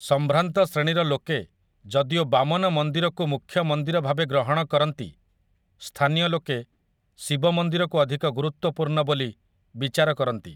ସମ୍ଭ୍ରାନ୍ତ ଶ୍ରେଣୀର ଲୋକେ ଯଦିଓ ବାମନ ମନ୍ଦିରକୁ ମୁଖ୍ୟ ମନ୍ଦିର ଭାବେ ଗ୍ରହଣ କରନ୍ତି, ସ୍ଥାନୀୟ ଲୋକେ ଶିବ ମନ୍ଦିରକୁ ଅଧିକ ଗୁରୁତ୍ୱପୂର୍ଣ୍ଣ ବୋଲି ବିଚାର କରନ୍ତି ।